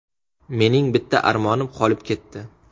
Mening bitta armonim qolib ketdi.